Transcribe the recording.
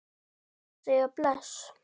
Ég varð að segja bless.